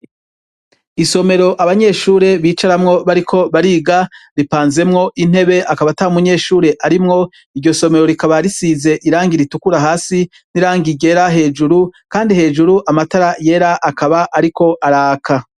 Isomero abanyeshure bicaramwo bariko bariga ripanzemwo intebe akaba ata umunyeshure arimwo iryo somero rikaba risize irangi ritukura hasi n'irangi ryera hejuru, kandi hejuru amatara yera akaba, ariko araka.